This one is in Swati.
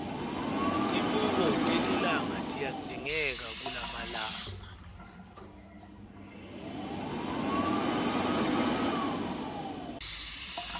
tibuko telilanga tiyadzingeka kulamalanga